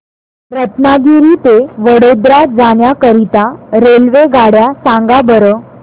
रत्नागिरी ते वडोदरा जाण्या करीता रेल्वेगाड्या सांगा बरं